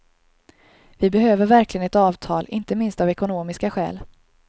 Vi behöver verkligen ett avtal, inte minst av ekonomiska skäl.